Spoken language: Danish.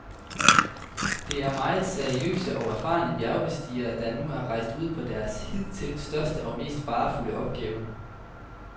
Det er meget seriøse og erfarne bjergbestigere, der nu er rejst ud på deres hidtil største og mest farefulde opgave.